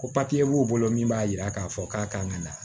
Ko papiye b'o bolo min b'a jira k'a fɔ k'a kan ka na